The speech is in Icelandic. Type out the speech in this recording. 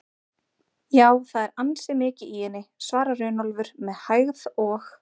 Já, það er ansi mikið í henni, svarar Runólfur með hægð og